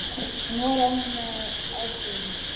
Hún horfði með aðdáun á Tóta.